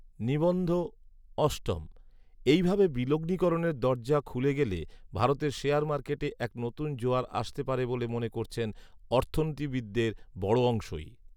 নিবন্ধ অষ্টম, এই ভাবে বিলগ্নিকরণের দরজা খুলে গেলে ভারতের শেয়ার মার্কেটে এক নতুন জোয়ার আসতে পারে বলে মনে করছেন অর্থনীতিবিদদের বড় অংশই